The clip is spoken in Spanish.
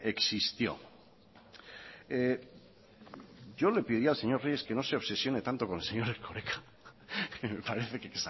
existió yo le pediría al señor reyes que no se obsesione tanto con el señor erkoreka que me parece que